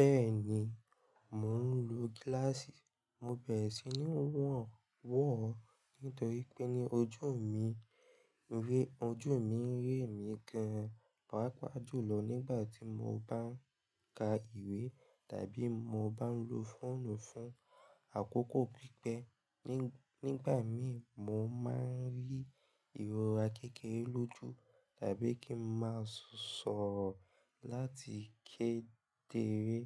Bẹ́ẹ̀ni, mò ń lo gíláàsì, mo bẹ̀rẹ̀ sí ní wọ̀n wọ̀ nítorí pé ní ojú mi, ojú mi rẹ mí gan-an. Pàápàá jùlọ nígbàtí mo bá ń ka ìwé tàbí tí mo bá ń lo fóònù fún àkókò pípẹ́. Ní, nígbà mìí, mo máa ń rí ìrora kékeré lójú tàbí kí n máa sọ̀rọ̀ láti ké dere.